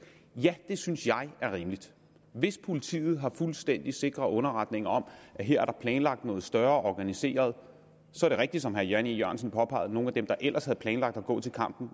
ja det synes jeg er rimeligt hvis politiet har fuldstændig sikre underretninger om at her er der planlagt noget større organiseret så er det rigtigt som herre jan e jørgensen påpegede at nogle af dem der ellers havde planlagt at gå til kamp